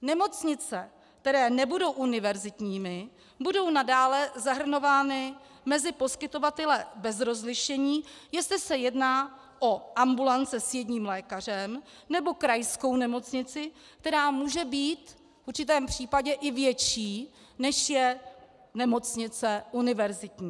Nemocnice, které nebudou univerzitními, budou nadále zahrnovány mezi poskytovatele bez rozlišení, jestli se jedná o ambulance s jedním lékařem, nebo krajskou nemocnici, která může být v určitém případě i větší, než je nemocnice univerzitní.